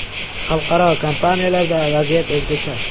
Xalqaro kompaniyalarda vaziyat o‘zgacha.